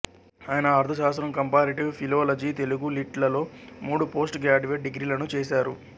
ఆయన ఆర్థశాస్త్రం comparative philology Telugu lit లలో మూడు పోస్టు గ్రాడ్యుయేట్ డిగ్రీలను చేశారు